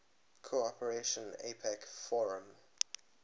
cooperation apec forum